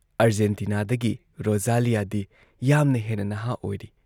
ꯑꯔꯖꯦꯟꯇꯤꯅꯥꯗꯒꯤ ꯔꯣꯖꯥꯂꯤꯌꯥꯗꯤ ꯌꯥꯝꯅ ꯍꯦꯟꯅ ꯅꯍꯥ ꯑꯣꯏꯔꯤ ꯫